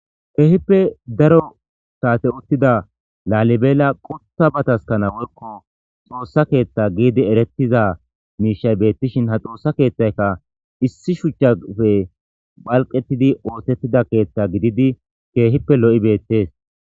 keehippe daro saate ottida laalibeela qotta ba taskana worko xoossa keeththa giidi erettiza miishay beettishin ha xoossa keeththayka issi shuchchafe phalqettidi ootettida keetta gididi keehippe lo7i beettees